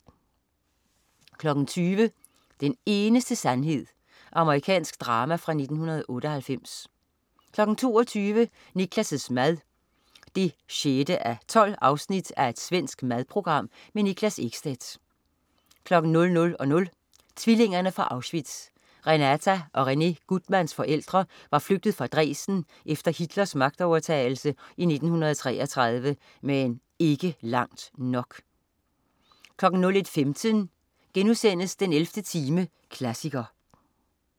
20.00 Den eneste sandhed. Amerikansk drama fra 1998 22.00 Niklas' mad 6:12. Svensk madprogram. Niklas Ekstedt 00.00 Tvillingerne fra Auschwitz. Renata og Rene Guttmans forældre var flygtet fra Dresden efter Hitlers magtovertagelse i 1933, men ikke langt nok 01.15 den 11. time, klassiker*